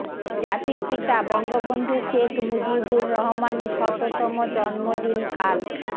জাতির পিতা বঙ্গবন্ধু শেখ মুজিবুর রহমানের শততম জন্মদিন কাল